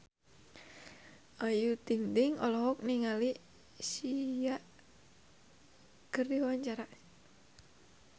Ayu Ting-ting olohok ningali Sia keur diwawancara